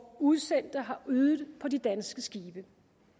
udsendte har ydet på de danske skibe